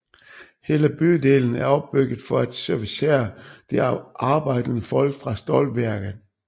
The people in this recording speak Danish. Hele bydelen er opbygget for at servicere det arbejdende folk fra stålværket